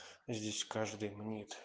здесь каждый мнит